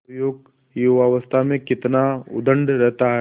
नवयुवक युवावस्था में कितना उद्दंड रहता है